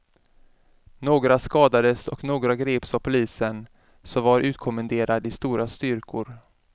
Några skadades och några greps av polisen, som var utkommenderad i stora styrkor.